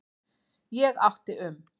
Ég átti um